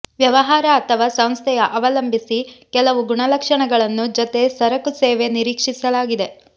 ವ್ಯವಹಾರ ಅಥವಾ ಸಂಸ್ಥೆಯ ಅವಲಂಬಿಸಿ ಕೆಲವು ಗುಣಲಕ್ಷಣಗಳನ್ನು ಜೊತೆ ಸರಕು ಸೇವೆ ನಿರೀಕ್ಷಿಸಲಾಗಿದೆ